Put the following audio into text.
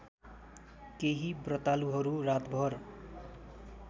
केही ब्रतालुहरू रातभर